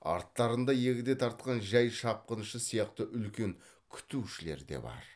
арттарында егде тартқан жай шапқыншы сияқты үлкен күтушілер де бар